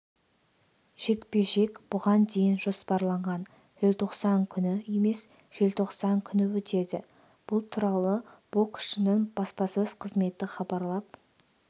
жекпе-жек бұған дейін жоспарланған желтоқсан күні емес желтоқсан күні өтеді бұл туралы боксшының баспасөз қызметі хабарлап